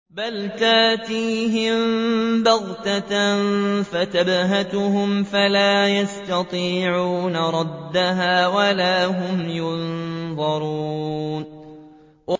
بَلْ تَأْتِيهِم بَغْتَةً فَتَبْهَتُهُمْ فَلَا يَسْتَطِيعُونَ رَدَّهَا وَلَا هُمْ يُنظَرُونَ